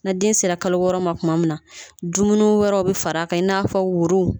Na den sera kalo wɔɔrɔ ma tuma min na dumuni wɛrɛw bɛ fara a kan i n'a fɔ wuru